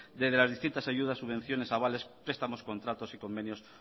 desde las distintas ayudas subvenciones avales prestamos contratos y convenios